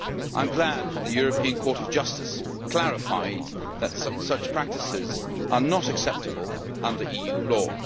I am glad that the European Court of Justice clarified that such practices are not acceptable under EU law.